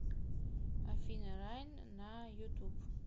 афина райн на ютуб